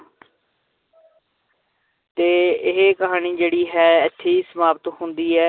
ਤੇ ਇਹ ਕਹਾਣੀ ਜਿਹੜੀ ਹੈ ਇੱਥੇ ਹੀ ਸਮਾਪਤ ਹੁੰਦੀ ਹੈ।